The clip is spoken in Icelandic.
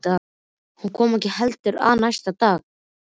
Hún kom heldur ekki næsta dag.